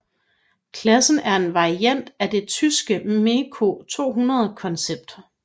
Klassen er en variant af det tyske MEKO 200 koncept